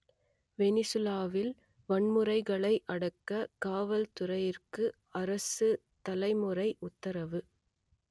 வெனிசுவேலாவில் வன்முறைகளை அடக்க காவல்துறையினருக்கு அரசுத்தலைவர் உத்தரவு